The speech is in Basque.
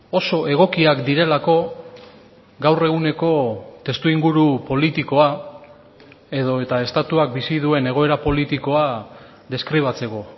oso egokiak direlako gaur eguneko testuinguru politikoa edo eta estatuak bizi duen egoera politikoa deskribatzeko